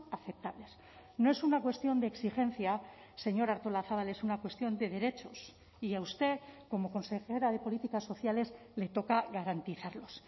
aceptables no es una cuestión de exigencia señora artolazabal es una cuestión de derechos y a usted como consejera de políticas sociales le toca garantizarlos